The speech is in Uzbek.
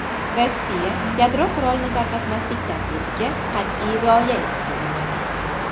Rossiya yadro qurolini tarqatmaslik tartibiga qat’iy rioya etib kelmoqda.